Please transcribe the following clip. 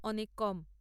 অনেক কম।